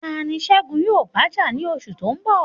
Ta ni Segun yóò bá jà ní oṣù tó ń bọ̀?